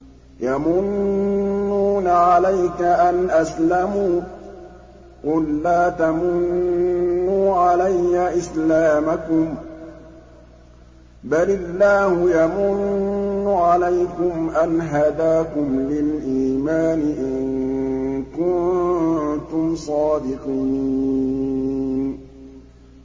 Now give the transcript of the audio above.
يَمُنُّونَ عَلَيْكَ أَنْ أَسْلَمُوا ۖ قُل لَّا تَمُنُّوا عَلَيَّ إِسْلَامَكُم ۖ بَلِ اللَّهُ يَمُنُّ عَلَيْكُمْ أَنْ هَدَاكُمْ لِلْإِيمَانِ إِن كُنتُمْ صَادِقِينَ